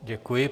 Děkuji.